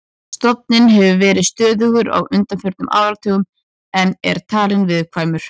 Stofninn hefur verið stöðugur á undanförnum áratugum en er talinn viðkvæmur.